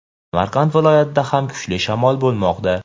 Samarqand viloyatida ham kuchli shamol bo‘lmoqda.